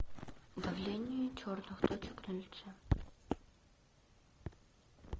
удаление черных точек на лице